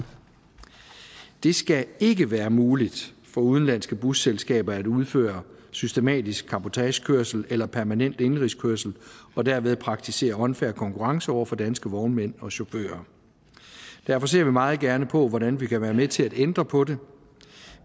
det skal ikke være muligt for udenlandske busselskaber at udføre systematisk cabotagekørsel eller permanent indenrigskørsel og derved praktisere unfair konkurrence over for danske vognmænd og chauffører derfor ser vi meget gerne på hvordan vi kan være med til at ændre på det